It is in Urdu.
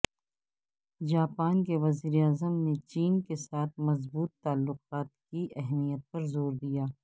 جاپان کے وزیر اعظم نے چین کے ساتھ مضبوط تعلقات کی اہمیت پر زور دیا